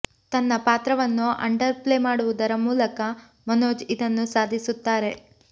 ತನ್ನ ಪಾತ್ರವನ್ನು underplay ಮಾಡುವುದರ ಮೂಲಕ ಮನೋಜ್ ಇದನ್ನು ಸಾಧಿಸುತ್ತಾರೆ